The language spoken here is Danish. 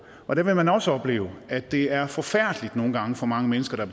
og der vil man også opleve at det er forfærdeligt nogle gange for mange mennesker der